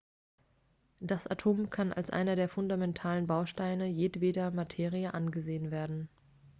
das atom kann als einer der fundamentalen bausteine jedweder materie angesehen werden